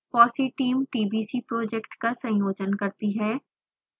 fossee team tbc project का संयोजन करती है